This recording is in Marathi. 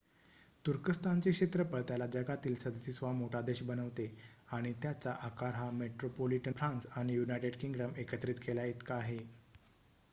तुर्कस्थानचे क्षेत्रफळ त्याला जगातील 37 वा मोठा देश बनवते आणि त्याचा आकार हा मेट्रोपोलिटन फ्रान्स आणि यूनायटेड किंगडम एकत्रित केल्या इतका आहे